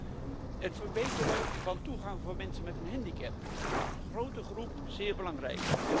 4. het verbeteren van toegang voor mensen met een handicap, grote groep, zeer belangrijk